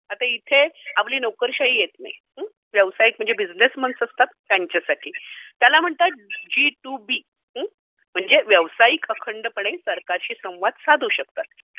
आता इथे आपली नोकरशाही येत नाही, व्यावसायिक म्हणजे बिझनेसमॅन असतात त्यांच्यासाठी. त्याला म्हणतात जी टू बी. म्हणजे व्यावसायिक अखंडपणे सरकारशी संवाद साधू शकतात.